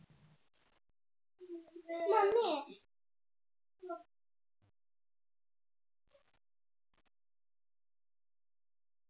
Mummy